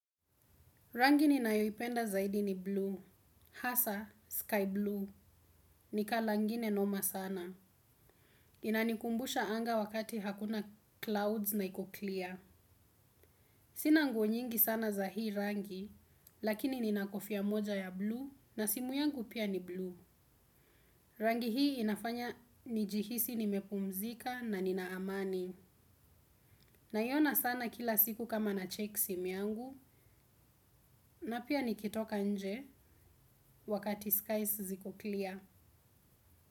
Rangi ninayoipenda zaidi ni bluu. Hasa, sky blue. Ni kala ingine noma sana. Inanikumbusha anga wakati hakuna clouds na iko clear. Sina nguo nyingi sana za hii rangi, lakini nina kofia moja ya bluu na simu yangu pia ni blu. Rangi hii inafanya nijihisi nimepumzika na nina amani. Naiona sana kila siku kama na check simu yangu na pia nikitoka nje wakati skies ziko clear.